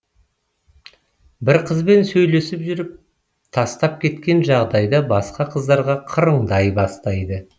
бір қызбен сөйлесіп жүріп тастап кеткен жағдайда басқа қыздарға қырыңдай бастайды